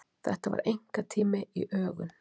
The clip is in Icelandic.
Þetta var einkatími í ögun.